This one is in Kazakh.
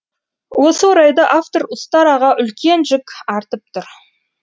осы орайда автор ұстараға үлкен жүк артып тұр